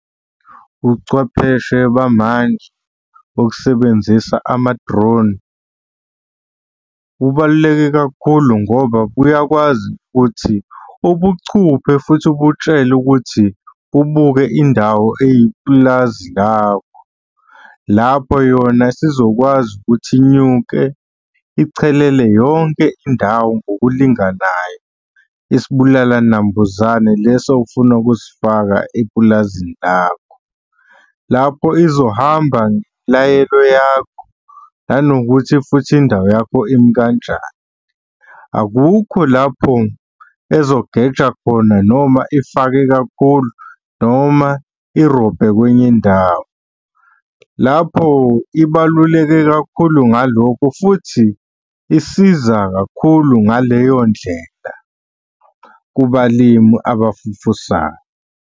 Ubuchwepheshe bamanje bokusebenzisa amad-drone bubaluleke kakhulu ngoba buyakwazi ukuthi ubucuphe futhi ubutshele ukuthi kubuke indawo eyipulazi lakho. Lapho yona isizokwazi ukuthi inyuke ichelele yonke indawo ngokulinganayo isibulala nambuzane leso ofuna ukusifaka epulazini lakho. Lapho izohamba ngemlayelo yakho, nanokuthi futhi indawo yakho imi kanjani. Akukho lapho ezogeja khona noma ifake kakhulu noma irobhe kwenye indawo. Lapho ibaluleke kakhulu ngalokho futhi isiza kakhulu ngaleyo ndlela kubalimi abafufusayo.